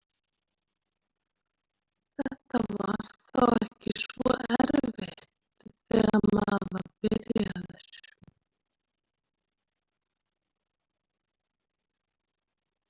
Þetta var þá ekki svo erfitt þegar maður var byrjaður.